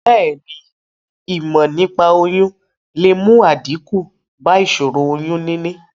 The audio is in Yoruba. Bèéni, ìmò nípaa oyún le mu àdíkù ba ìsòro oyún níní